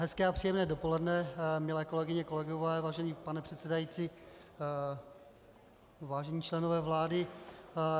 Hezké a příjemné dopoledne, milé kolegyně, kolegové, vážený pane předsedající, vážení členové vlády.